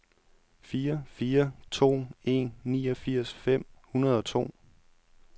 fire fire to en niogfirs fem hundrede og to